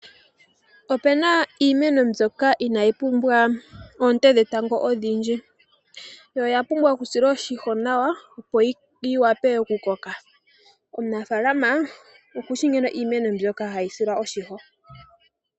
Opuna iimeno mbyoka inaayi pumbwa oonte dhetango odhindji. Oya pumbwa oku silwa oshimpwiyu nawa opo yi vule oku koka. Omunafaalama okushi nkene iimeno mbyoka hayi silwa oshimpwiyu.